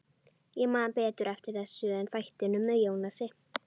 Ég man betur eftir þessu en þættinum með Jónasi.